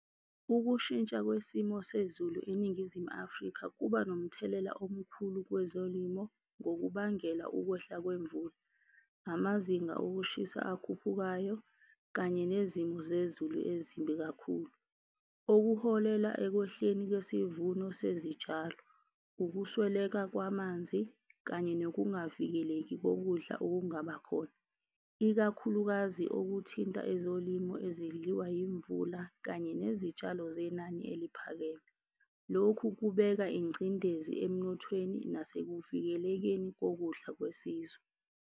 Ukushintsha kwesimo sezulu eNingizimu Afrika kuba nomthelela omkhulu kwezolimo ngokubangela ukwehla kwemvula, amazinga okushisa akuphukayo, kanye nezimo zezulu ezimbi kakhulu. Okuholela ekwehleni kwesivuno sezitshalo, ukusweleka kwamanzi kanye nokungavikeleki kokudla okungabakhona. Ikakhulukazi okuthinta ezolimo ezidliwa yimvula kanye nezitshalo zenani eliphakeme. Lokhu kubeka ingcindezi emnothweni, nasekuvikelekeni kokudla kwesizwe.